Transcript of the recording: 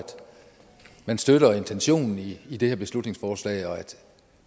man støtter intentionen i det her beslutningsforslag og at